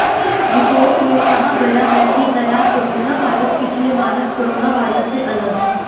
report में कहा गया है कि नया कोरोनावायरस पिछले मानव कोरोनवीरस से अलग है